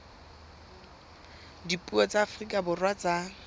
dipuo tsa afrika borwa tsa